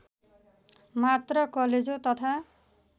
मात्र कलेजो तथा